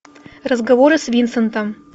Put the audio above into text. разговоры с винсентом